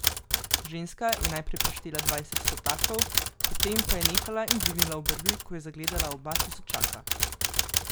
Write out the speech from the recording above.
Ženska je najprej preštela dvajset stotakov, potem pa je nehala in dvignila obrvi, ko je zagledala oba tisočaka.